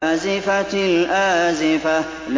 أَزِفَتِ الْآزِفَةُ